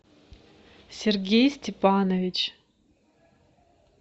сергей степанович